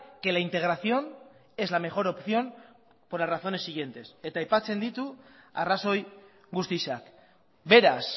que la integración es la mejor opción por las razones siguientes eta aipatzen ditu arrazoi guztiak beraz